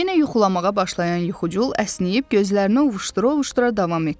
Yenə yuxulamağa başlayan yuxucul əsnəyib gözlərini ovuşdura-ovuşdura davam etdi.